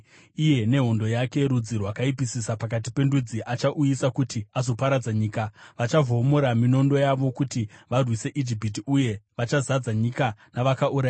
Iye nehondo yake, rudzi rwakaipisisa pakati pendudzi, achauyiswa kuti azoparadza nyika. Vachavhomora minondo yavo kuti varwise Ijipiti, uye vachazadza nyika navakaurayiwa.